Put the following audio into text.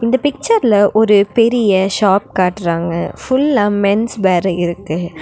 இந்த பிக்சர்ல ஒரு பெரிய ஷாப் காட்றாங்க ஃபுல்லா மென்ஸ் பேர்ரு இருக்கு.